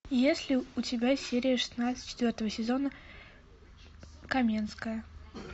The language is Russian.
есть ли у тебя серия шестнадцать четвертого сезона каменская